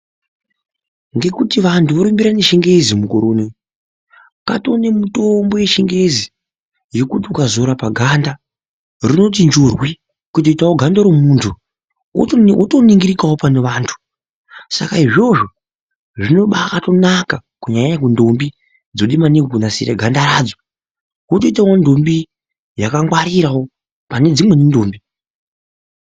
Ngekuti vantu vorumbirana nechingezi mukore unou katonemutombo yechingezi yekuti ukazora paganda runoti njurwi kutoitawo ganda romuntu wotoningirikawo pane vantu . Saka izvozvo zvinobatonaka kunyanya nyanya kundombi dzode maningi kunasira ganda radzo wotoitawo ndombi yakagwarira pane dzimweni ndombi.